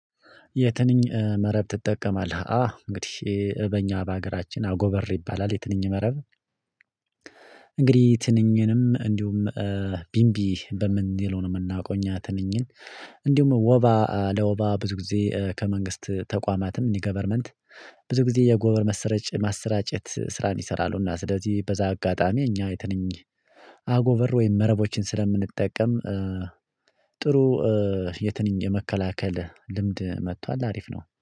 የትንኝ መረብ ትጠቀማለህ አ እንግዲህ በእኛ በሀገራችን አጎበር ይባላል የትንኝ መረብ። እንግዲህ ትንኝንም እንዲሁም ቢንቢ በምን ይልህ ነው የምናውቀው እኛ ትንኝን። እንዲሁም ወባ ለወባ ብዙ ጊዜ ከመንግስት ተቋማትም የገቨርመንት ብዙ ጊዜ የአጎበር መሰረጭ ማሰራጨት ስራን ይሰራሉና ስለዚህ በዛ አጋጣሚ እኛ የትንኝ አጎበር ወይም መረቦችን ስለምንጠቀም። ጥሩ የትንኝ የመከላከል ልምድ መጥቷል። አሪፍ ነው